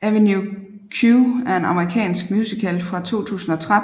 Avenue Q er en amerikansk musical fra 2003